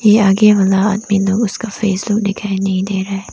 यह आगे वाला आदमी जो उसका फेस लोग दिखाई नहीं दे रहा है।